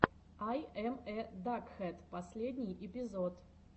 ай эм э дакхэд последний эпизод